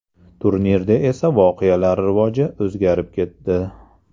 Turnirda esa voqealar rivoji o‘zgarib ketdi.